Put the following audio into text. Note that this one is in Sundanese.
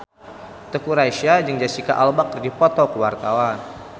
Teuku Rassya jeung Jesicca Alba keur dipoto ku wartawan